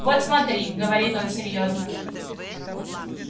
вот смотри говорит он серьёзно